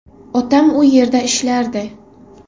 Otam u yerda ishlardi.